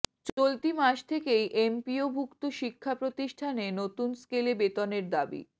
চলতি মাস থেকেই এমপিওভুক্ত শিক্ষাপ্রতিষ্ঠানে নতুন স্কেলে বেতনের দাবি